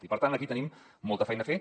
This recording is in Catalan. i per tant aquí tenim molta feina a fer